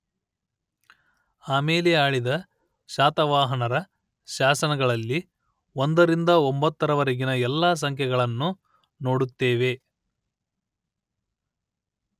ಆಮೇಲೆ ಆಳಿದ ಶಾತವಾಹನರ ಶಾಸನಗಳಲ್ಲಿ ಒಂದರಿಂದ ಒಂಬತ್ತರವರೆಗಿನ ಎಲ್ಲ ಸಂಖ್ಯೆಗಳನ್ನೂ ನೋಡುತ್ತೇವೆ